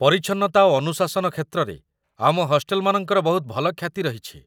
ପରିଚ୍ଛନ୍ନତା ଓ ଅନୁଶାସନ କ୍ଷେତ୍ରରେ ଆମ ହଷ୍ଟେଲମାନଙ୍କର ବହୁତ ଭଲ ଖ୍ୟାତି ରହିଛି